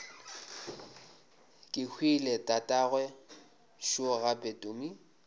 kehwile tatagwe šo gape tumi